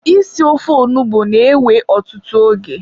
isi ofe onugbu na-ewe ọtụtụ oge.